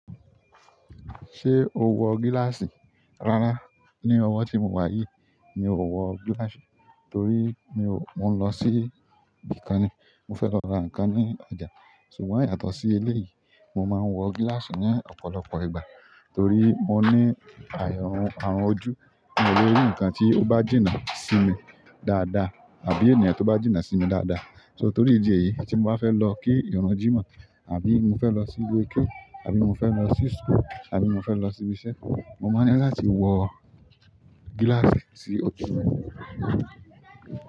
Ṣé o wọ gíláàsì? Rárá, ní ọwọ́ tí mo wá yìí mi ò wọ gíláàsì torí mi ò-- mo ń lọ sí ibi kan ni. Mo fẹ́ lọ ra nǹkan ní ọjà. Ṣùgbọ́n yàtọ̀ sí ilé yìí, mo máa ń wọ gíláàsì ní ọ̀pọ̀lọpọ̀ ìgbà torí mo ní airun àrùn ojú. Mi o le rí nǹkan tí ó bá jìnnà sí mi dáadáa àbí ènìyàn tó bá jìnnà sí mi dáadáa. So torí ìdí èyí ìgbà tí mo bá fẹ́ lọ kí ìrun jímọ̀ àbí mo fẹ́ lọ sí ilé keu àbí mo fẹ́ lọ sí school àbí mo fẹ́ lọ sí ibi iṣẹ́, mo máa ń ní láti wọ gíláàsì sí ojú mi.